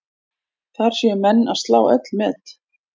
Þar séu menn að slá öll met.